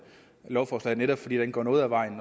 lovforslaget netop fordi det går noget af vejen